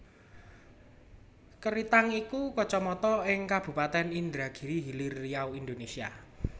Keritang iku Kacamatan ing Kabupatèn Indragiri Hilir Riau Indonésia